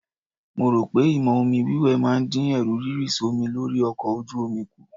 Mo rò pé ìmọ̀ omi wíwẹ̀ máa dín Ẹ̀rù rírì sómi lórí ọkọ ojú omi kù.